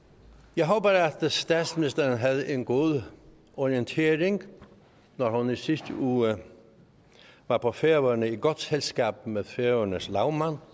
jeg håber at statsministeren havde en god orienteringsrejse da hun i sidste uge var på færøerne i godt selskab med færøernes lagmand